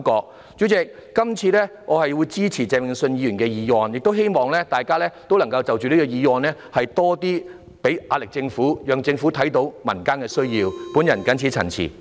代理主席，這次我會支持鄭泳舜議員的原議案，亦希望大家就這個議案向政府施加壓力，讓政府看到民間的需要，我謹此陳辭。